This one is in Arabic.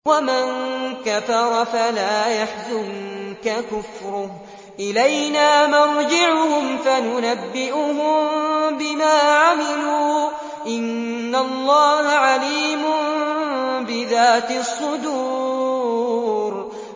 وَمَن كَفَرَ فَلَا يَحْزُنكَ كُفْرُهُ ۚ إِلَيْنَا مَرْجِعُهُمْ فَنُنَبِّئُهُم بِمَا عَمِلُوا ۚ إِنَّ اللَّهَ عَلِيمٌ بِذَاتِ الصُّدُورِ